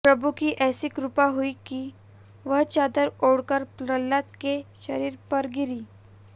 प्रभु की ऐसी कृपा हुई कि वह चादर उड़कर प्रल्हाद के शरीर पर गिरी